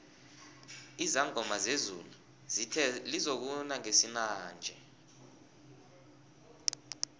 izangoma zezulu zithe lizokuna ngesinanje